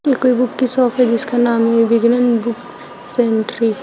ये कोई बुक की शॉप है जिसका नाम विगन्न वुक सेंट्री ।